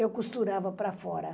Eu costurava para fora.